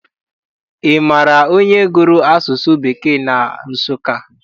Ị maara onye gụrụ asụsụ Bekee na Nsụka?